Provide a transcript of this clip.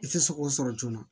I tɛ se k'o sɔrɔ joona